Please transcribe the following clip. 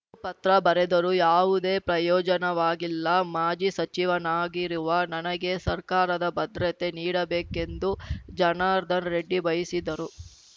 ಪತ್ರ ಬರೆದರೂ ಯಾವುದೇ ಪ್ರಯೋಜನವಾಗಿಲ್ಲ ಮಾಜಿ ಸಚಿವನಾಗಿರುವ ನನಗೆ ಸರ್ಕಾರದ ಭದ್ರತೆ ನೀಡಬೇಕೆಂದು ಜನಾರ್ದನ ರೆಡ್ಡಿ ಬಯಿಸಿದರು